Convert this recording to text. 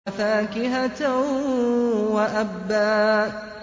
وَفَاكِهَةً وَأَبًّا